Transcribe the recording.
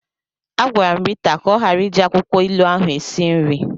Agwara m Rita ka ọ ghara iji akwụkwọ ilu ahụ esi nri.